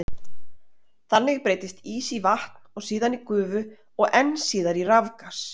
Þannig breytist ís í vatn og síðan í gufu og enn síðar í rafgas.